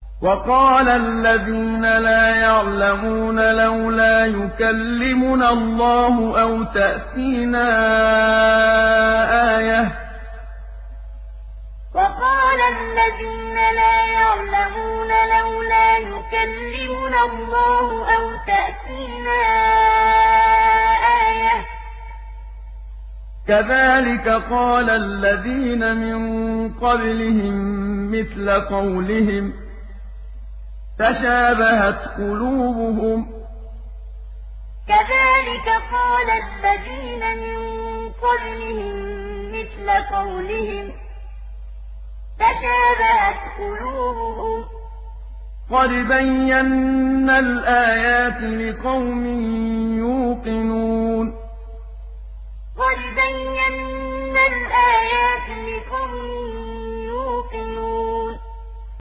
وَقَالَ الَّذِينَ لَا يَعْلَمُونَ لَوْلَا يُكَلِّمُنَا اللَّهُ أَوْ تَأْتِينَا آيَةٌ ۗ كَذَٰلِكَ قَالَ الَّذِينَ مِن قَبْلِهِم مِّثْلَ قَوْلِهِمْ ۘ تَشَابَهَتْ قُلُوبُهُمْ ۗ قَدْ بَيَّنَّا الْآيَاتِ لِقَوْمٍ يُوقِنُونَ وَقَالَ الَّذِينَ لَا يَعْلَمُونَ لَوْلَا يُكَلِّمُنَا اللَّهُ أَوْ تَأْتِينَا آيَةٌ ۗ كَذَٰلِكَ قَالَ الَّذِينَ مِن قَبْلِهِم مِّثْلَ قَوْلِهِمْ ۘ تَشَابَهَتْ قُلُوبُهُمْ ۗ قَدْ بَيَّنَّا الْآيَاتِ لِقَوْمٍ يُوقِنُونَ